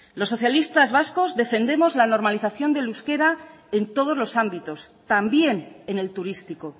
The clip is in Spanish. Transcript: los socialistas vascos defendemos la normalización del euskera en todos los ámbitos también en el turístico